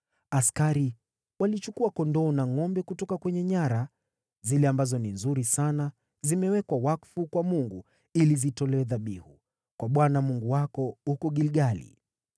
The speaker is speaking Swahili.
Askari walichukua kondoo na ngʼombe kutoka kwenye nyara, zile ambazo ni nzuri sana zimewekwa wakfu kwa Mungu, ili zitolewe dhabihu kwa Bwana Mungu wako huko Gilgali.”